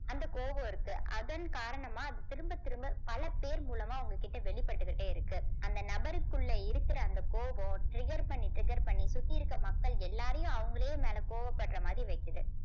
அந்த கோபம் இருக்கு அதன் காரணமா அது திரும்பத் திரும்ப பல பேர் மூலமா உங்க கிட்ட வெளிப்பட்டுக்கிட்டே இருக்கு அந்த நபருக்குள்ள இருக்கிற அந்த கோபம் trigger பண்ணி trigger பண்ணி சுத்தி இருக்கிற மக்கள் எல்லாரையும் அவங்களே என் மேல கோபப்படுற மாதிரி வைக்குது